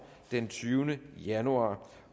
den tyvende januar